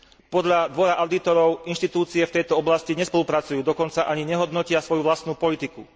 Podľa Dvora audítorov inštitúcie v tejto oblasti nespolupracujú, dokonca ani nehodnotia svoju vlastnú politiku.